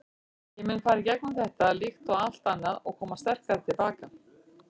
Ég mun fara í gegnum þetta, líkt og allt annað og koma sterkari til baka.